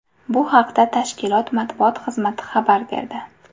Bu haqda tashkilot matbuot xizmati xabar berdi .